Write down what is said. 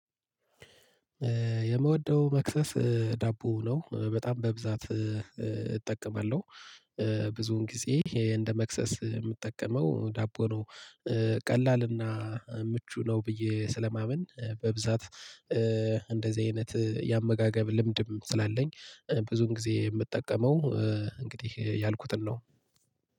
የምወደው መክሰስ ዳቦ ነው በጣም በብዛት እጠቀማለሁ። ብዙን ጊዜ እንደ መክሰስ የምጠቀመው ዳቦ ነው። ቀላልና ምቹ ነው ብዬ ስለማመን በብዛት። እንደዚህ አይነት የአመጋገብ ልምድም ስላለኝ ብዙን ጊዜ የምጠቀመው እንግዲህ ያልኩትን ነው።